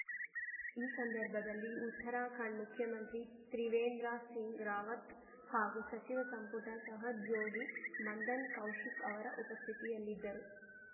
ಈ ಸಂದರ್ಭದಲ್ಲಿ ಉತ್ತರಾಖಂಡ್‌ ಮುಖ್ಯಮಂತ್ರಿ ತ್ರಿವೇಂದ್ರ ಸಿಂಗ್‌ ರಾವತ್‌ ಹಾಗೂ ಸಚಿವ ಸಂಪುಟ ಸಹೋದ್ಯೋಗಿ ಮಂದನ್‌ ಕೌಶಿಕ್‌ ಅವರ ಉಪಸ್ಥಿತಿಯಲ್ಲಿದ್ದರು